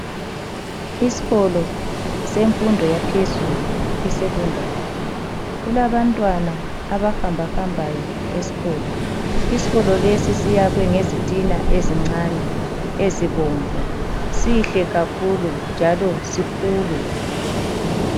Isikolo semfundo yaphezulu isekhondari, kulabantwana abahamba hambayo esikolo, isikolo lesi siyakhwe ngezitina ezincane ezibomvu sihle kakhulu njalo sikhulu.